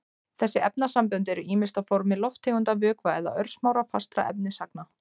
Þessi efnasambönd eru ýmist á formi lofttegunda, vökva eða örsmárra fastra efnisagna.